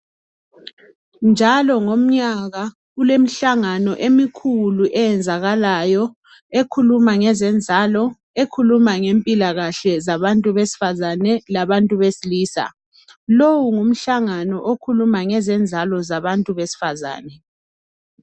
njalo ngomyaka kulemihlangano emikhulu eyenzakalayo ekhuluma ngezenzalo ekhuluma ngempilakahle zabantu besifazane labantu besilisa lowu ngumhlangano okhuluma ngezenzalo zabantu besifazane